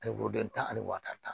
Ani den tan ani wɔtan tan